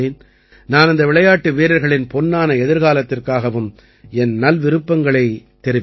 நான் இந்த விளையாட்டு வீரர்களின் பொன்னான எதிர்காலத்திற்காகவும் என் நல்விருப்பங்களைத் தெரிவிக்கிறேன்